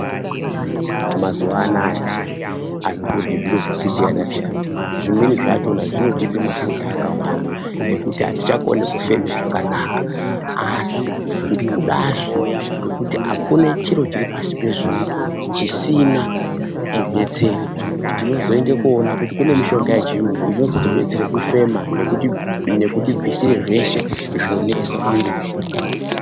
Mazuvana anaye anhu arikudye zviro zvakasiyana zvimwe zvine mafuta akawanda asi kune mitombo yechirungu inobatsiridza kubvisa mafuta ayoni mumwiri medu